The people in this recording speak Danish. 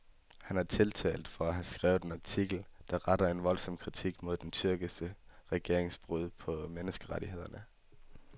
Han er tiltalt for at have skrevet en artikel, der retter en voldsom kritik mod den tyrkiske regerings brud på menneskerettighederne.